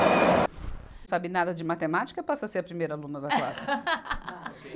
Não sabe nada de matemática, passa a ser a primeira aluna da classe.